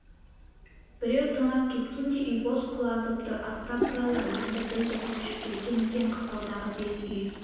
біреу тонап кеткендей үй бос құлазып тұр астапыралла енді білді көшіп кеткен екен қыстаудағы бес үй